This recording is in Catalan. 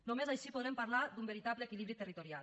només així podrem parlar d’un veritable equilibri territorial